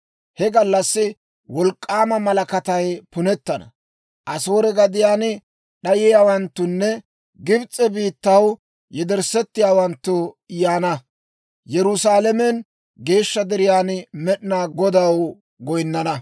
He gallassi wolk'k'aama malakatay punettana; Asoore gadiyaan d'ayiyaawanttunne Gibs'e biittaw yedersseeddawanttu yaana; Yerusaalamen geeshsha deriyaan Med'inaa Godaw goyinnana.